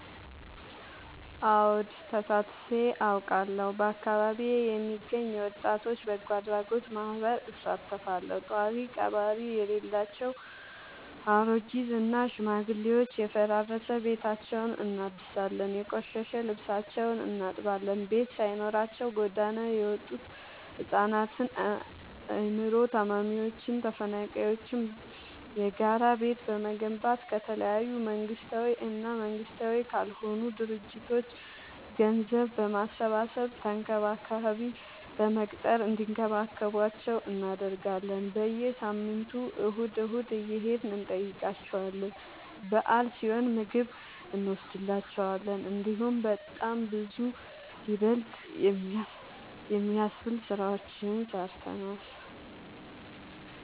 አወድ ተሳትፊ አውቃለሁ። በአካቢዬ የሚገኝ የወጣቶች በጎአድራጎት ማህበር እሳተፋለሁ። ጦሪቀባሪ የሌላቸው አሬጊት እና ሽማግሌዎችን የፈራረሰ ቤታቸውን እናድሳለን፤ የቆሸሸ ልብሳቸውን እናጥባለን፤ ቤት ሳይኖራቸው ጎዳና የወጡቱ ህፃናትን አይምሮ ታማሚዎችን ተፈናቃይዎችን የጋራ ቤት በመገንባት ከተለያዩ መንግስታዊ እና መንግስታዊ ካልሆኑ ድርጅቶች ገንዘብ በማሰባሰብ ተንከባካቢ በመቅጠር እንዲከባከቧቸው እናደርጋለን። በየሳምንቱ እሁድ እሁድ እየሄድን እንጠይቃቸዋለን በአል ሲሆን ምግብ እኖስድላቸዋለን። እንዲሁም በጣም ብዙ ይበል የሚያስብ ስራዎችን ሰርተናል።